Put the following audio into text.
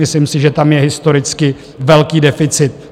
Myslím si, že tam je historicky velký deficit.